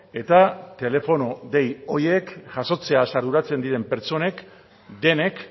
eta telefono dei horiek jasotzeaz arduratzen diren pertsonek denek